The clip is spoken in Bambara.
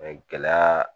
Mɛ gɛlɛya